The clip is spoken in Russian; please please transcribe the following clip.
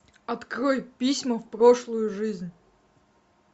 открой письма в прошлую жизнь